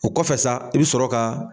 O kɔfɛ sa i bɛ sɔrɔ ka.